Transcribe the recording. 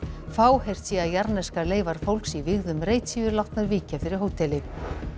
fáheyrt sé að jarðneskar leifar fólks í vígðum reit séu látnar víkja fyrir hóteli